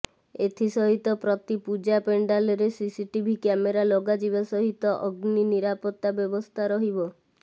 ଏଥି ସହିତ ପ୍ରତି ପୂଜା ପେଣ୍ଡାଲରେ ସିସିଟିଭି କ୍ୟାମେରା ଲଗାଯିବା ସହିତ ଅଗ୍ନି ନିରାପତ୍ତା ବ୍ୟବସ୍ଥା ରହିବ